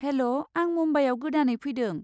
हेल' आं मुम्बाइयाव गोदानै फैदों।